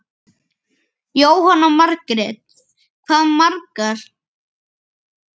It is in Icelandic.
Jóhanna Margrét: Hvað margar?